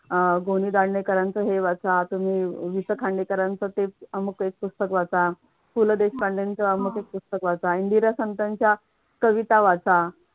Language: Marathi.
अह गो. नि. दांडेकरांचा हे वाचा. तुम्ही वि स खांडेकरांचं ते अमुक एक पुस्तक वाचा. पु ल देशपांडे अमुक एक पुस्तक वाचा इंदिरा संत यांच्या कविता वाचा